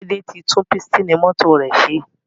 Laide tí tún Pístìnì mọ́tò rẹ ṣe.